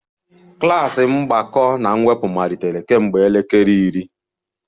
Klas mgbakọ na mwepụ malitere kemgbe elekere iri